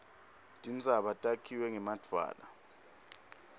tintsaba takhiwe ngemadvwala